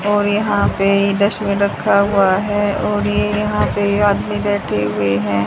और यहां पे डस्टबिन रखा हुआ है और ये यहां पे आदमी बैठे हुए हैं।